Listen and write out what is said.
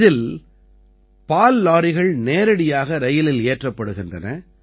இதில் பால் லாரிகள் நேரடியாக ரயிலில் ஏற்றப்படுகின்றன